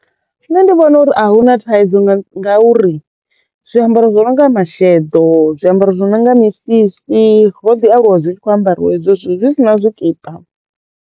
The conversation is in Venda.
Nṋe ndi vhona uri a hu na thaidzo nga ngauri zwiambaro zwo no nga masheḓo, zwiambaro zwi no nga misisi ro ḓi aluwa zwi tshi kho ambariwa hezwo zwithu zwi si na zwikipa.